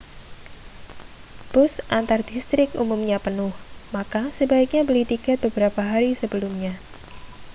bus antardistrik umumnya penuh maka sebaiknya beli tiket beberapa hari sebelumnya